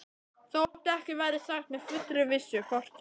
Þótt ekki verði sagt með fullri vissu, hvort þeir